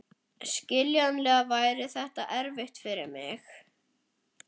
Skiljanlega væri þetta erfitt fyrir mig.